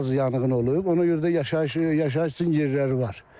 Az yanğın olub, ona görə də yaşayış üçün yerləri var.